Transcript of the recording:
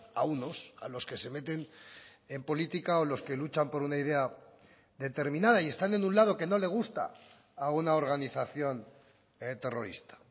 a unos a los que se meten en política o los que luchan por una idea determinada y están en un lado que no le gusta a una organización terrorista